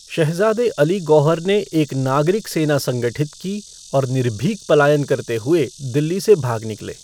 शहज़ादे अली गौहर ने एक नागरिक सेना संगठित की और निर्भीक पलायन करते हुए दिल्ली से भाग निकले।